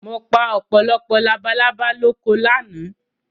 Mo pa ọ̀pọ̀lọpọ̀ labalábá lóko lánàá